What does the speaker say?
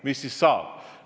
Mis siis saab?